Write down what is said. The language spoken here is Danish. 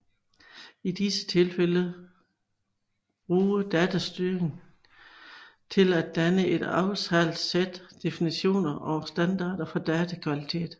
I disse tilfælde bruge datastyring til at danne et aftalt sæt definitioner og standarder for datakvalitet